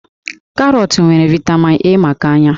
Karọọtụ nwere vaịtamin A maka ányá